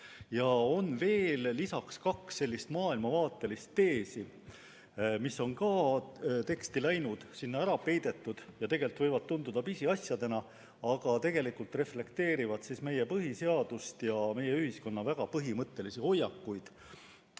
Lisaks on veel kaks maailmavaatelist teesi, mis on samuti teksti sisse läinud, sinna ära peidetud, ja võivad tunduda pisiasjadena, aga mis tegelikult reflekteerivad meie põhiseadust ja meie ühiskonna väga põhimõttelisi hoiakuid.